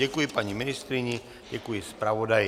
Děkuji paní ministryni, děkuji zpravodaji.